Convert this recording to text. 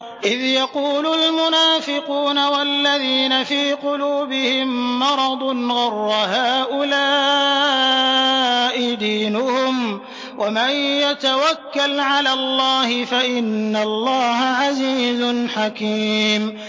إِذْ يَقُولُ الْمُنَافِقُونَ وَالَّذِينَ فِي قُلُوبِهِم مَّرَضٌ غَرَّ هَٰؤُلَاءِ دِينُهُمْ ۗ وَمَن يَتَوَكَّلْ عَلَى اللَّهِ فَإِنَّ اللَّهَ عَزِيزٌ حَكِيمٌ